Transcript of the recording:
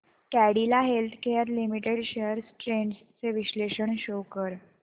Cadila healthcare limited shares trends चे विश्लेषण show कर